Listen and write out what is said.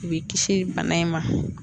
U b'e kisi bana in ma